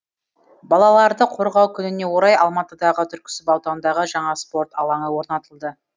балаларды қорғау күніне орай алматыдағы түрксіб ауданындағы жаңа спорт алаңы орнатылды